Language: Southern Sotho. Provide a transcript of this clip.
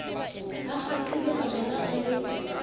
a kgaqile majwala a le